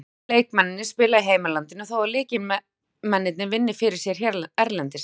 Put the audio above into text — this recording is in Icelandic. Flestir leikmennirnir spila í heimalandinu þó að lykilmennirnir vinni fyrir sér erlendis.